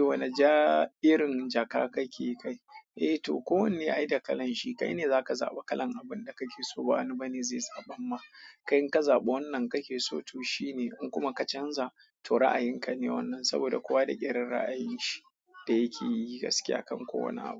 Wane ja irin jaka kake kai? Eh to, ko wanne ai da kalan shi. Kai ne zaka zaba kalan abunda kake so ba wani bane zai zaban ma. Kai in ka zaba wannan kake so to shine. In kuma ka canza to ra'ayin ka ne wannan saboda kowa da irin ra'ayin shi da yake yi gaskiya kam kowane abu.